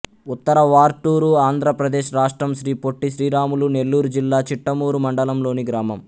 ఉత్తర వార్టూరు ఆంధ్ర ప్రదేశ్ రాష్ట్రం శ్రీ పొట్టి శ్రీరాములు నెల్లూరు జిల్లా చిట్టమూరు మండలం లోని గ్రామం